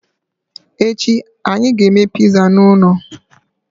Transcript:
Echi, anyị ga-eme pizza n'ụlọ.